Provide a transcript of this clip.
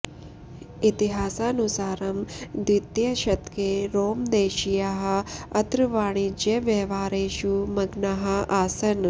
इतिहासानुसारं द्वितीये शतके रोमदेशीयाः अत्र वाणिज्यव्यवहारेषु मग्नाः आसन्